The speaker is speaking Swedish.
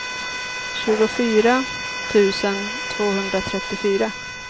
tjugofyra tusen tvåhundratrettiofyra